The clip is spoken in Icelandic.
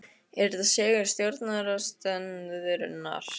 Er þetta sigur stjórnarandstöðunnar?